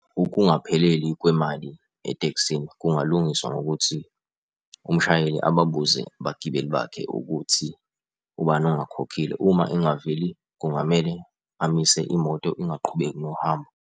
Ukungapheleli kwemali etekisini kungalungiswa ngokuthi umshayeli ababuze abagibeli bakhe ukuthi ubani ongakhokhile. Uma engaveli, kungamele amise imoto ingaqhubeki nohambo.